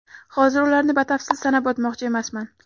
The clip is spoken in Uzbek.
Hozir ularni batafsil sanab o‘tmoqchi emasman.